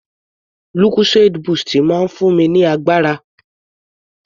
Lucozade boost máa ń fún mi ní agbára.